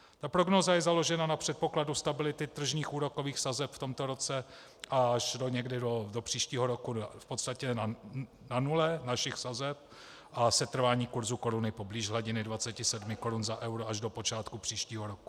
Ta prognóza je založena na předpokladu stability tržních úrokových sazeb v tomto roce a až někdy do příštího roku v podstatě na nule našich sazeb a setrvání kurzu koruny poblíž hladiny 27 korun za euro až do počátku příštího roku.